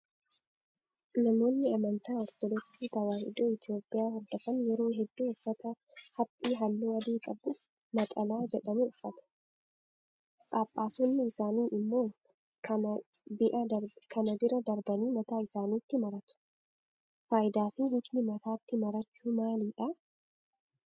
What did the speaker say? Namoonni amantaa ortodoksii tawaahidoo Itoophiyaa hordofan yeroo hedduu uffata haphii halluu adii qabu naxalaa jedhamu uffatu. Phaaphaasonni isaanii immoo kana bia darbanii mataa isaaniitti maratu. Fayidaa fi hiikni mataatti marachuu maalidhaa?